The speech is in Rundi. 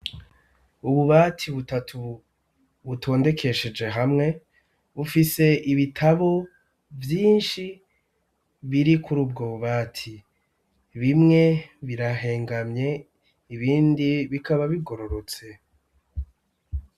Ububati butatu butondekesheje hamwe bufise ibitabo vyinshi biri kuri ubwo bubati bimwe birahengamye ibindi bikaba bigororotse.